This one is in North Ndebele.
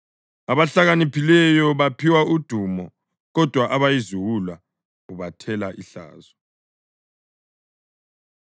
Abahlakaniphileyo baphiwa udumo kodwa abayiziwula ubathela ihlazo.